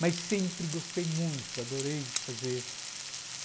Mas sempre gostei muito, adorei fazer.